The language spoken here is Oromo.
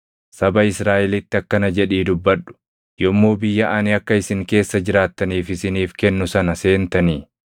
“Saba Israaʼelitti akkana jedhii dubbadhu: ‘Yommuu biyya ani akka isin keessa jiraattaniif isiniif kennu sana seentanii